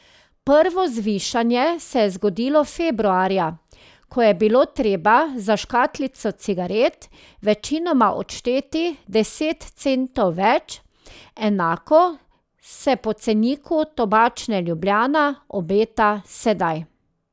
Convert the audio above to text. Prvo zvišanje se je zgodilo februarja, ko je bilo treba za škatlico cigaret večinoma odšteti deset centov več, enako se po ceniku Tobačne Ljubljana obeta sedaj.